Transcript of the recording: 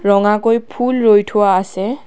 ৰঙাকৈ ফুল ৰুই থোৱা আছে।